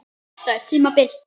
Þetta tímabil?